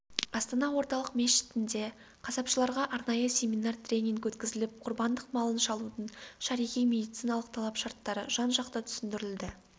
астана орталық мешітінде қасапшыларға арнайы семинар-тренинг өткізіліп құрбандық малын шалудың шариғи медициналық талап-шарттары жан-жақты түсіндірілді